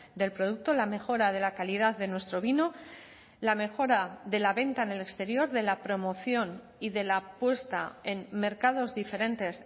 del producto la mejora de la calidad de nuestro vino la mejora de la venta en el exterior de la promoción y de la apuesta en mercados diferentes